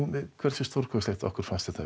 hversu stórkostlegt okkur fannst þetta